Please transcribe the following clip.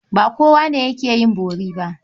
Ba kowa ne yake yin bori ba.